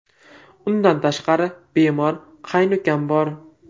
Undan tashqari, bemor qaynukam bor.